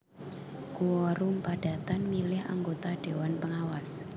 Quorum padatan milih anggota déwan pengawas